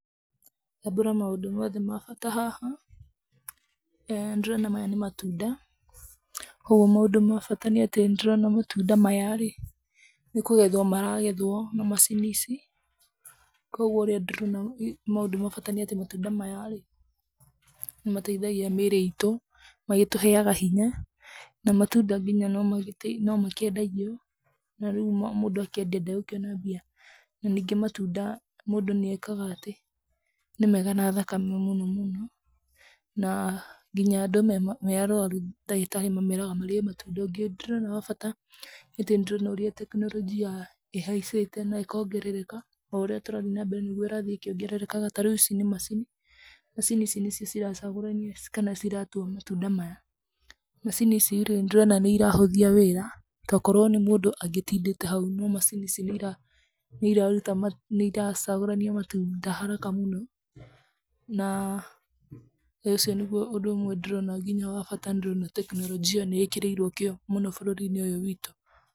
Tambũra maũndũ moothe ma bata haha. Nĩndĩrona maya nĩ matunda, koguo maũndũ ma bata nĩ atĩ nĩ ndĩrona matunda maya rĩ, nĩkũgethwo maragethwo na macini ici, koguo ũrĩa ndĩrona maũndũ ma bata nĩ atĩ matunda maya rĩ, nĩmateithagia mĩĩrĩ itũ, magĩtũheaga hinya na matunda nginya no makĩendagio na rĩu mũndũ akĩendia ndegũkĩona mbia. Na ningĩ matunda mũndũ nĩ ekaga atĩ, nĩ mega na thakame mũno mũno na nginya andũ me arwaru ndagĩtarĩ mameraga marĩe matunda. Ũngĩ ndĩrona wa bata wa bata nĩ atĩ nĩndĩrona ũrĩa tekinoronjia ĩhaicĩte na ĩkongerereka, o ũrĩa tũrathiĩ nambere nĩguo ĩrathiĩ ĩkĩongererekaga. Ta rĩu ici nĩ macini, macini ici nĩcio ciracagũrania kana ciratua matunda maya. Macini ici rĩ, nĩndĩrona nĩ irahũthia wĩra tokorwo nĩ mũndũ angĩtindĩte hau, no macini ici nĩ iracagũrania matunda haraka mũno na ũcio nĩguo ũndũ ũmwe ndĩrona nginya wa bata nĩndĩrona tekinoronjia nĩ ĩkĩrĩirwo kĩo mũno bũrũri-inĩ ũyũ witũ.